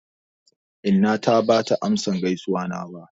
Inna ta bata amsa gaizuwana ba.